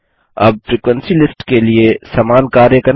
अब frequency list के लिए समान कार्य करें